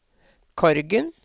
Korgen